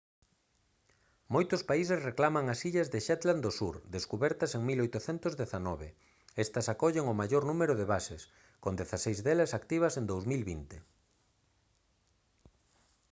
moitos países reclaman as illas das shetland do sur descubertas en 1819 estas acollen o maior número de bases con dezaseis delas activas en 2020